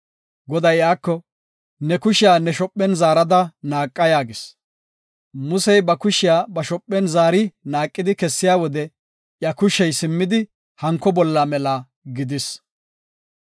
Goday iyako, “Ne kushiya ne shophen zaarada naaqa” yaagis. Musey ba kushiya ba shophen zaari naaqidi kessiya wode iya kushey simmidi hanko asatethi mela gidis.